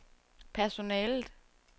personalet